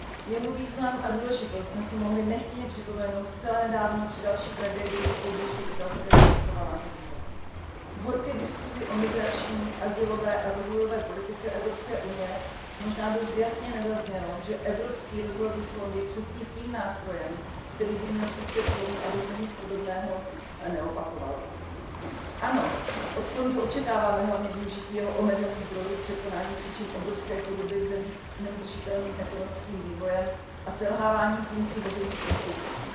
Jeho význam a důležitost jsme si mohli nechtěně připomenout zcela nedávno při další tragédii u pobřeží italského ostrova Lampedusa. V horké diskusi o migrační, azylové a rozvojové politice Evropské unie možná dost jasně nezaznělo, že Evropský rozvojový fond je přesně tím nástrojem, který by měl přispět k tomu, aby se nic podobného neopakovalo. Ano, od fondu očekáváme hlavně využití jeho omezených zdrojů k překonání příčin obrovské chudoby v zemích s neudržitelným ekonomickým vývojem a se selhávajícími veřejnými institucemi,